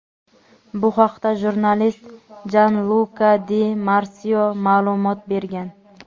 Bu haqda jurnalist Janluka Di Marsio ma’lumot bergan.